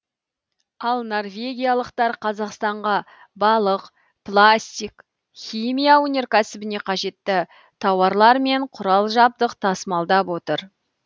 ал норвегиялықтар қазақстанға балық пластик химия өнеркәсібіне қажетті тауарлар мен құрал жабдық тасымалдап отыр